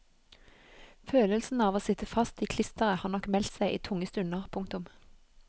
Følelsen av å sitte fast i klisteret har nok meldt seg i tunge stunder. punktum